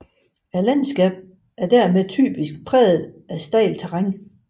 Landskabet er dermed typisk præget af stejlt terræn